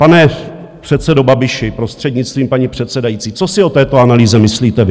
Pane předsedo Babiši, prostřednictvím paní předsedající, co si o této analýze myslíte vy?